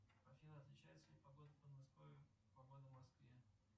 афина отличается ли погода в подмосковье от погоды в москве